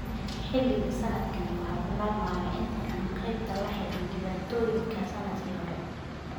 Xilliga sanadkan waxaa bilaabmaya intii aan qeybta la xiriin dhibaatooyinka sannadkii hore.